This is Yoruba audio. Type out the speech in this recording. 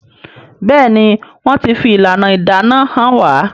Béèni wón tí fi ìlànà ìdáná hàn wá.